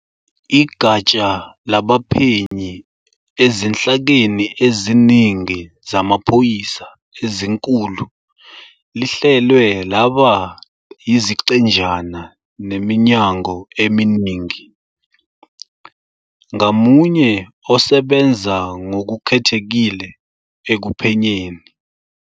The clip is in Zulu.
Igatsha labaphenyi ezinhlakeni eziningi zamaphoyisa ezinkulu lihlelwe laba yiziqenjana neminyango eminingi, ngamunye osebenza ngokukhethekile ekuphenyeni